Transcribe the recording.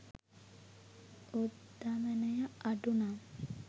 උද්ධමනය අඩු නම්